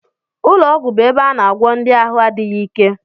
Ụlọọgwụ bụ ebe a na-agwọ ndị ahụ adịghị ike